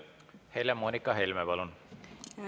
Helle-Moonika Helme, palun!